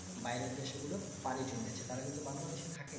বাইরের দেশ গুলো পারি জমে আছে তার কিন্তু বাংলাদেশ এ থাকে না